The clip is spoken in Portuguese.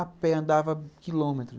A pé andava quilômetros.